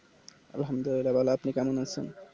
আলহাম দুলিল্লা ভালো আপনি কেমন আছেন